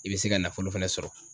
I bɛ se ka nafolo fɛnɛ sɔrɔ.